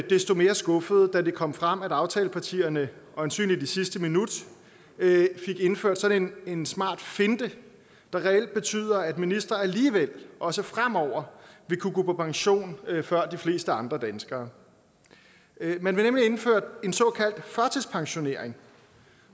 desto mere skuffet da det kom frem at aftalepartierne øjensynlig i sidste minut fik indført sådan en smart finte der reelt betyder at en minister alligevel også fremover vil kunne gå på pension før de fleste andre danskere man vil nemlig indføre en såkaldt førtidspensionering